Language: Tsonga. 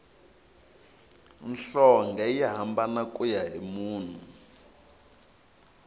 nhlonge yi hambana kuya hi munhu